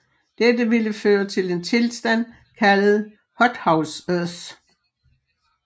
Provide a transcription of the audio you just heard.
Dette ville føre til en tilstand kaldet Hothouse Earth